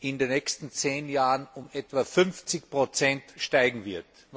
in den nächsten zehn Jahren um etwa 50 steigen wird.